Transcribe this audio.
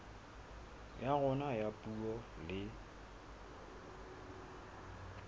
ya rona ya puo le